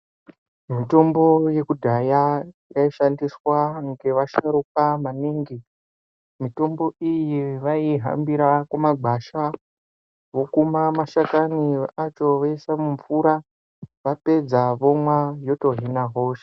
Mitombo yekudhaya yaishandiswa ngevasharukwa maningi mitombo iyi vaiihambira mumagwasha vokuma mashakani acho voisa mumvura vapedza vomwa yotohina hosha.